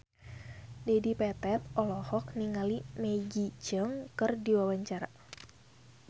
Dedi Petet olohok ningali Maggie Cheung keur diwawancara